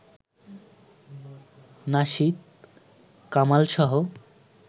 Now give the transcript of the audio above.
nasheed কামালসহ